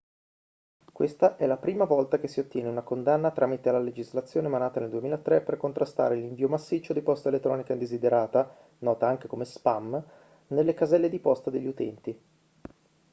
questa è la prima volta che si ottiene una condanna tramite la legislazione emanata nel 2003 per contrastare l'invio massiccio di posta elettronica indesiderata nota anche come spam nelle caselle di posta degli utenti